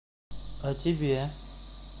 а тебе